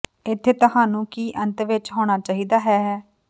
ਇੱਥੇ ਤੁਹਾਨੂੰ ਕੀ ਅੰਤ ਵਿੱਚ ਹੋਣਾ ਚਾਹੀਦਾ ਹੈ ਹੈ